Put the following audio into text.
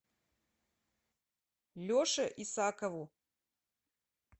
леше исакову